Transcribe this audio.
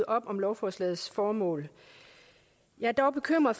op om lovforslagets formål jeg er dog bekymret